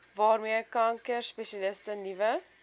waarmee kankerspesialiste nuwe